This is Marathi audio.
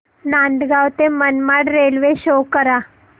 नांदगाव ते मनमाड रेल्वे शो करा